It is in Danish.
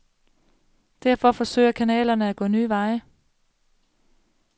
Derfor forsøger kanalerne at gå nye veje.